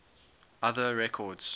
other records